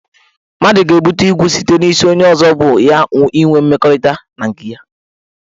Mmadụ ga-ebute igwu site n' isi onye ọzọ bu ya inwe mmekọrịta na nke ya.